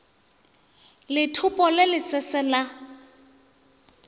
lethopo le le sese la